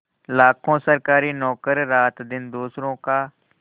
लाखों सरकारी नौकर रातदिन दूसरों का